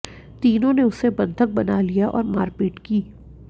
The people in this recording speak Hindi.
तीनों ने उसे बंधक बना लिया और मारपीट की